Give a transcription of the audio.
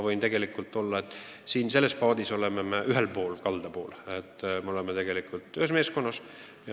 Võin teile öelda, et me oleme teiega ühes paadis, ühes meeskonnas.